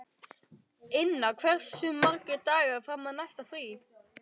Inna, hversu margir dagar fram að næsta fríi?